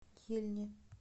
ельне